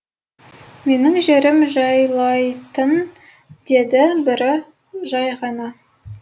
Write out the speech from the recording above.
менің жерім жайлайтын деді бірі жай ғана